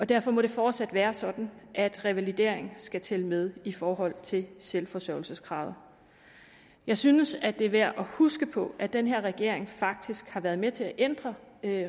derfor må det fortsat være sådan at revalidering skal tælle med i forhold til selvforsørgelseskravet jeg synes det er værd at huske på at den her regering faktisk har været med til at ændre